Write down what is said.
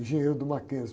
Engenheiro do Mackenzie.